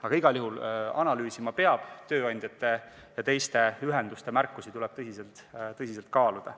Aga analüüsima igal juhul peab, tööandjate ja teiste ühenduste märkusi tuleb tõsiselt kaaluda.